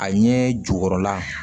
A ɲɛ jukɔrɔla